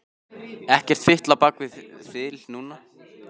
Ekkert fitl á bak við þil núna.